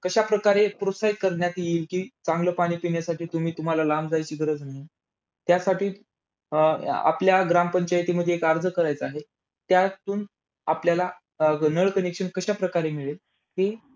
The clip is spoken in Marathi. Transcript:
कशा प्रकारे प्रोत्साहित करण्यात येईल कि, चांगलं पाणी पिण्यासाठी तुम्ही तुम्हाला लांब जायची गरज नाही. त्यासाठी अं आपल्या ग्रामपंचायतीमध्ये एक अर्ज करायचा आहे. त्यातून आपल्याला अं नळ connection कशा प्रकारे मिळेल हि